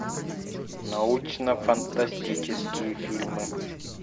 научно фантастические фильмы